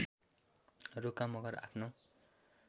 रोका मगर आफ्नो